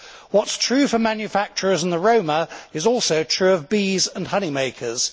What is true for manufacturers and the Roma is also true of bees and honey makers.